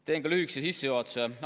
Teen ka lühikese sissejuhatuse.